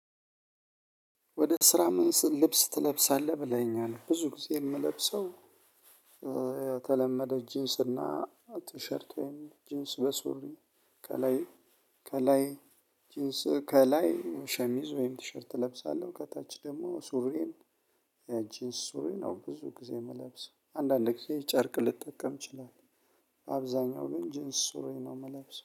ወደ ስራ? ምን ልብስ ትለብሳለህ ብለኸኛል ብዙ ጊዜ የምለብሰው። የተለመደው ጂንስ እና ቲሸርቴን ጂንስ በሱሪ ከላይ ከላይ ከላይ ጂንስ ከላይ ሸሚዝ ወይም ቲሸርት እለብሳለሁ። ከታች ደግሞ ሱሬን ያ ጂንስ ሱሪ ነው። ብዙ ጊዜ የምለብሰው አንዳንድ ጊዜ ጨርቅ ልጠቀም ይችላል። አብዛኛው ግን ጂንስ ሱሪ ነው የምለብሰው